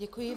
Děkuji.